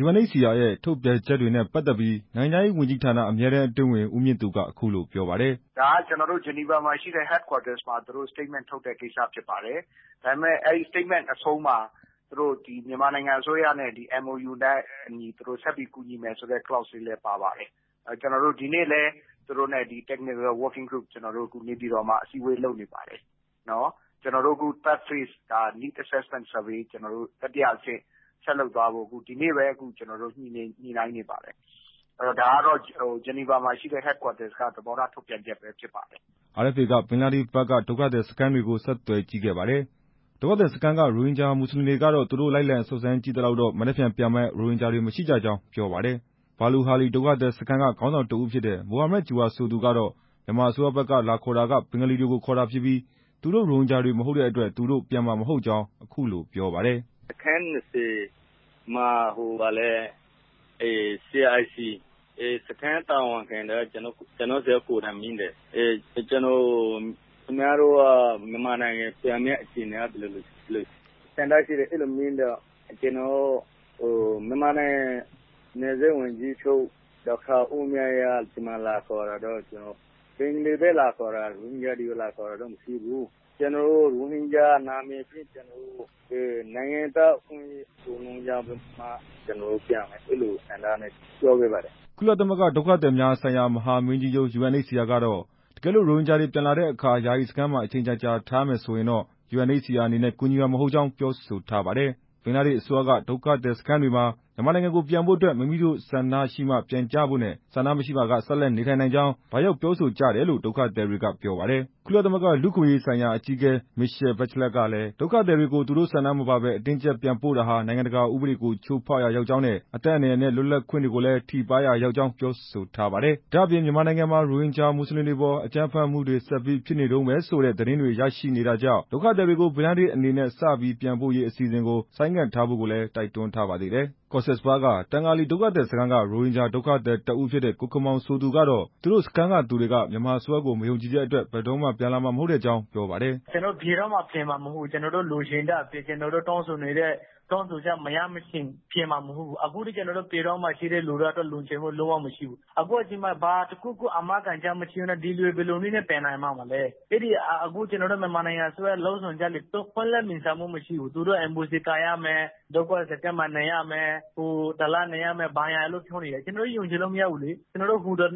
UNHCR ရဲ့ထုတ်ပြန်ချက်တွေနဲ့ ပတ်သက်ပြီး နိုင်ငံခြားရေးဝန်ကြီးဌာန အမြဲတမ်း အတွင်းဝန် ဦးမြင့်သူ က အခုလိုပြောပါတယ်။ "ဒါက ကျနော်တို့ ဂျနီဗာမှာရှိတဲ့ ရုံးချုပ်က ထုတ်ပြန်ချက် ထုတ်တာဖြစ်ပါတယ်၊ အဲဒါရဲ့အဆုံးမှာ မြန်မာအစိုးရနဲ့ သဘောတူလက်မှတ်ထိုးထားတဲ့ စာချုပ်အတိုင်း ဆက်လက် ကူညီသွားမယ်ဆိုတာလည်း ပါပါတယ်၊ ဒီနေ့လည်း နေပြည်တော်မှာ သူတို့နဲ့ အစည်းအဝေး လုပ်နေပါတယ်၊ တတိယအဆင့် ဆက်လုပ်သွားဖို့ ဒီနေ့ပဲ ညှိနှိုင်းနေပါတယ်၊ ဒါကတော့ ဂျနီဗာမှာရှိတဲ့ ရုံးချုပ်က သဘောထားထုတ်ပြန်ချက်ပဲ ဖြစ်ပါတယ်" RFA က ဘင်္ဂလားဒေ့ရှ်ဘက်က ဒုက္ခသည်စခန်းတွေကို ဆက်သွယ်ကြည့်ခဲ့ပါတယ်။ ဒုက္ခသည်စခန်းက ရိုဟင်ဂျာ မွတ်စလင်တွေကတော့ သူတို့ လိုက်လံ စုံစမ်းကြည့်သလောက်တော့ မနက်ဖြန်မှာ ပြန်မယ့် ရိုဟင်ဂျာတွေ မရှိကြကြောင်းပြောပါတယ်။ ဘာလူဟာလီ ဒုက္ခသည်စခန်းက ခေါင်းဆောင်တစ်ဦးဖြစ်တဲ့ မိုဟာမတ်ဂျူဟာရ် ဆိုသူကတော့ မြန်မာအစိုးရဘက် လာခေါ်တာက ဘင်္ဂလီတွေကိုခေါ်တာဖြစ်ပြီး သူတို့ ရိုဟင်ဂျာတွေ မဟုတ်တဲ့ သူတို့ အတွက်ပြန်မှာမဟုတ်ကြောင်း အခုလိုပြောပါတယ်။ "အခန်း ၂၀ မှာ ICRC ရဲ့ စခန်းတာဝန်ခံက ကျနော်ဆီ ကိုယ်တိုင်မေးတယ်၊ ခင်ဗျားတို့ မြန်မာနိုင်ငံပြန်မယ့် အခြေအနေက ဘယ်လိုဆန္ဒရှိလည်း အဲ့လိုမေးတယ်၊ ကျနော်က ဒေါက်တာ ဝင်းမြတ်အေး လာခေါ်တာတော့ ဘင်္ဂါလီပဲ လာခေါ်တာ ရိုဟင်ဂျာ လာခေါ်တာမရှိဘူး၊ ကျနော်တို့ နိုင်ငံသားကို ရိုဟင်ဂျာလို့ သတ်မှတ်မှ ပြန်မယ် အဲ့လိုပဲပြောလိုက်တယ်" ကုလသမဂ္ဂ ဒုက္ခသည်များဆိုင်ရာ မဟာမင်းကြီးရုံး UNHCR က တော့ တကယ်လို့ ရိုဟင်ဂျာတွေ ပြန်လာတဲ့အခါ ယာယီစခန်းမှာ အချိန်ကြာကြာ ထားမယ်ဆိုရင်တော့ UNHCR အနေနဲ့ ကူညီမှာမဟုတ်ကြောင်း ပြောဆိုထားပါတယ်။ ဘင်္ဂလားဒေ့ရှ်အစိုးရက ဒုက္ခသည်စခန်းတွေမှာ မြန်မာနိုင်ငံကို ပြန်ဖို့အတွက် မိမိတို့ဆန္ဒရှိမှပြန်ကြဖို့နဲ့ ဆန္ဒမရှိပါက ဆက်လက်နေထိုင်နိုင်ကြောင်း လာရောက်ပြောဆိုကြတယ်လို့ ဒုက္ခသည်တွေက ပြောပါတယ်။ ကုလသမဂ္ဂ လူ့အခွင့်အရေးဆိုင်ရာ အကြီးအကဲ Michelle Bachelet ကလည်း ဒုက္ခသည်တွေကို သူတို့ဆန္ဒမပါဘဲ အတင်းအကျပ် ပြန်ပို့တာဟာ နိုင်ငံတကာဥပဒေကို ချိုးဖောက်ရာရောက်ကြောင်းနဲ့ အသက်အန္တရာယ်နဲ့ လွတ်လပ်ခွင့်တွေကိုလည်း ထိပါးရာရောက်ကြောင်း ပြောဆိုထားပါတယ်။ ဒါ့အပြင် မြန်မာနိုင်ငံမှာ ရိုဟင်ဂျာ မွတ်စလင်တွေအပေါ် အကြမ်းဖက်မှုတွေ ဆက်ပြီးဖြစ်နေတုန်းပဲဆိုတဲ့ သတင်းတွေ ရရှိနေတာကြောင့် ဒုက္ခသည်တွေကို ဘင်္ဂလားဒေ့ရှ်အနေနဲ့ စပြီးပြန်ပို့ရေး အစီအစဉ်ကို ဆိုင်းငံ့ထားဖို့ က တိုက်တွန်းထားပါသေးတယ်။ ကော့ဆက်စ်ဘဇား တန်ကာလီကန်က ရိုဟင်ဂျာ ဒုက္ခသည်တစ်ဦးဖြစ်တဲ့ ကိုခင်မောင် ဆိုသူကတော့ သူတို့စခန်းသူတွေက မြန်မာအစိုးရကို မယုံကြည်တဲ့အတွက် ဘယ်တော့မှပြန်မှာမဟုတ်ကြောင်း ပြောပါတယ်။ "ကျနော်တို့ လိုချင်နေတဲ့ တောင်းဆိုချက်တွေ မရမချင်း ဘယ်တော့မှ ပြန်မှာမဟုတ်ဘူး၊ ပြည်တွင်းမှာ ရှိတဲ့သူတွေကတော့ လိုချင်စိတ် ဘာမှမရှိဘူး၊ အာမခံချက်ဘာမှ မရှိဘဲနဲ့တော့ ဘယ်သူတွေက ပြန်ချင်ပါ့မလဲ၊ မြန်မာအစိုးရရဲ့ ဆောင်ရွက်ချက်တွေက ပွင့်လင်းမြင်သာမှုမရှိဘူး၊ ဒုက္ခသည်စခန်းမှာ နေရမယ်၊ ၁ လနေရမယ်လို့ ပြောနေတယ်၊ ကျနော်တို့ ယုံကြည်လို့မရဘူးလေ၊ ဒုက္ခသည်